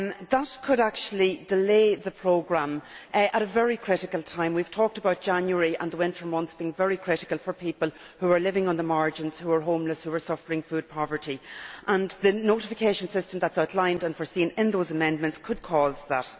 That could actually delay the programme at a very critical time. We have talked about January and the winter months being very critical for people who are living on the margins, the homeless and those suffering food poverty, and the notification system that is outlined and provided for in those amendments could cause that.